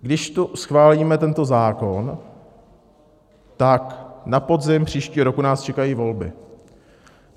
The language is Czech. Když tu schválíme tento zákon, tak na podzim příštího roku nás čekají volby.